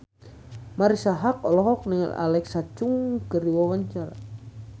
Marisa Haque olohok ningali Alexa Chung keur diwawancara